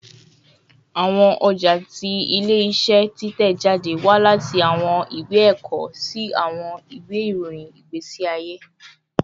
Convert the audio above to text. Awọn ọja ti ile-iṣẹ titẹjade wa lati awọn iwe ẹkọ si awọn iwe irohin igbesi aye